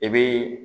I bi